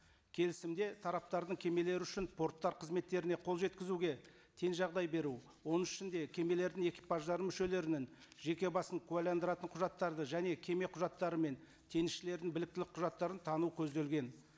келісімде тараптардың кемелері үшін порттар қызметтеріне қол жеткізуге тең жағдай беру оның ішінде кемелердің экипаждары мүшелерінің жеке басын куәләндыратын құжаттарды және кеме құжаттары мен теңізшілердің біліктілік құжаттарын тану көзделген